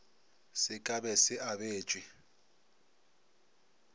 se ka be se abetšwe